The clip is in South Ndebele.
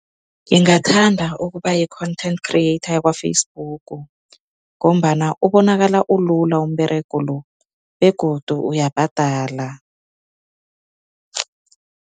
Ngingathanda ukuba yi-content criket yakwa-Facebook ngombana ubonakala ulula umberego lo begodu uyabhadala.